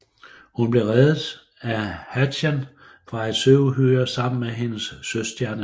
Hun blev reddet af Hatchan fra et søuhyre sammen med hendes søstjerneven